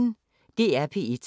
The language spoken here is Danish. DR P1